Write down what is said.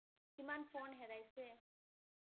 কিমান ফোন হেৰাইছে ।